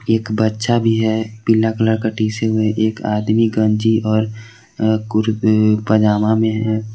एक बच्चा भी है पीला कलर का टी शर्ट में एक आदमी गंजी और पैजामा में है।